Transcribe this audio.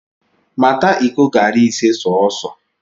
Mata iko garị ise sọọsọ!